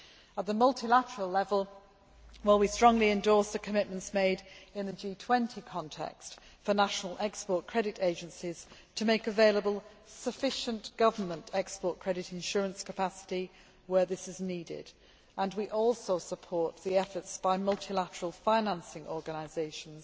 At the multilateral level, we strongly endorse the commitments made in the G20 context for national export credit agencies to make available sufficient government export credit insurance capacity where this is needed, and we also support the efforts by multilateral financing organisations